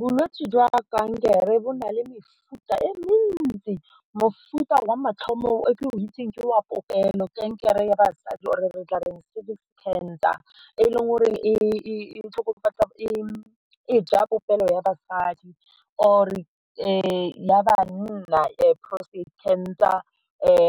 Bolwetse jwa kankere bo na le mefuta e mentsi, mofuta wa mathomo o ke o itseng ke wa popelo, kankere ya basadi or e re tla re cervic cancer e leng goreng e tlhokofatsa, e ja popelo ya basadi or ya banna e prostate cancer